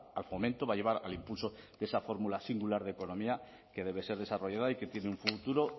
al fomento va a llevar al impulso de esa fórmula singular de economía que debe ser desarrollada y que tiene un futuro